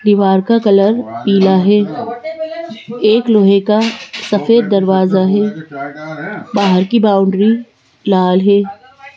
दीवार का कलर पीला है एक लोहे का सफेद दरवाजा है बाहर की बाउंड्री लाल है।